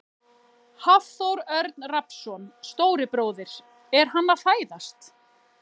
Hafþór Örn Rafnsson, stóri bróðir: Er hann að fæðast?